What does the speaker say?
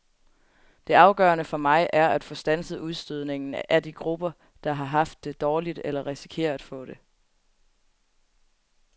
Det afgørende for mig er at få standset udstødningen af de grupper, der har haft det dårligt eller risikerer at få det.